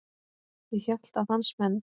Ég hélt að hans menn.